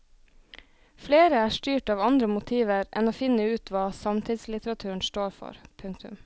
Flere er styrt av andre motiver enn å finne ut hva samtidslitteraturen står for. punktum